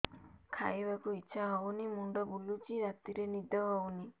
ଖାଇବାକୁ ଇଛା ହଉନି ମୁଣ୍ଡ ବୁଲୁଚି ରାତିରେ ନିଦ ହଉନି